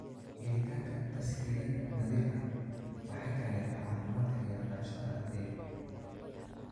Helitaanka tas-hiilaad nadiif ah waxay taageertaa caafimaadka iyo waxbarashada ardayga.